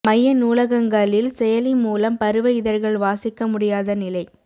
மைய நூலகங்களில் செயலி மூலம் பருவ இதழ்கள் வாசிக்க முடியாத நிலை